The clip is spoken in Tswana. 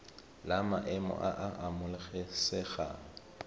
la maemo a a amogelesegang